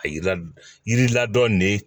A yira yiri la dɔ ne